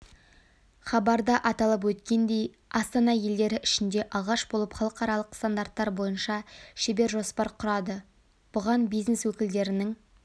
хабарда аталып өткендей астана елдері ішінде алғаш болып халықаралық стандарттар бойынша шебер-жоспар құрады бұған бизнес өкілдерінің